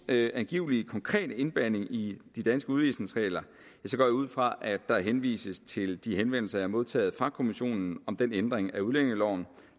angiveligt konkrete indblanding i de danske udvisningsregler går jeg ud fra at der henvises til de henvendelser jeg har modtaget fra kommissionen om den ændring af udlændingeloven